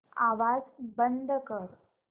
आवाज बंद कर